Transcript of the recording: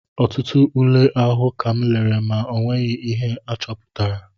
Ọtụtụ ule ahụ kam lere ma o nweghị ihe achọpụtara